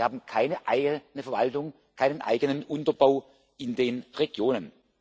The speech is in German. Wir haben keine eigene Verwaltung, keinen eigenen Unterbau in den Regionen.